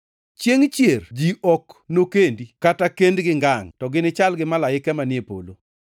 Chiengʼ chier ji ok nokendi kata kendgi ngangʼ to ginichal gi malaike manie polo.